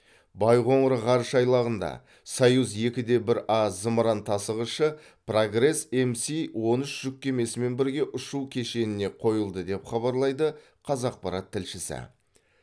байқоңыр ғарыш айлағында союз екі де бір а зымыран тасығышы прогресс мс он үш жүк кемесімен бірге ұшу кешеніне қойылды деп хабарлайды қазақпарат тілшісі